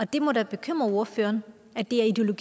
det må da bekymre ordføreren at det er ideologen